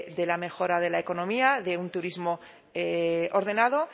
de la mejora de la economía de un turismo ordenado